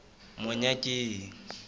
monyakeng